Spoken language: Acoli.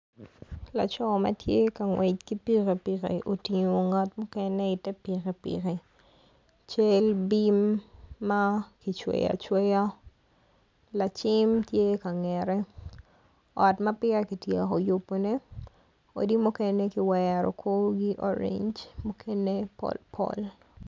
Laco ma tye ka ngwec ki pikipiki otingo ngat mukene i te piki piki cel bim ma kicweyo acweya lacim tye ka ngete ot ma peya kityeko yubone odi mukene ki wero korgi orenge mukene pol pol.